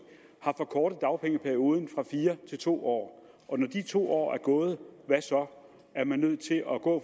har forkortet dagpengeperioden fra fire til to år og når de to år er gået hvad så er man nødt til at gå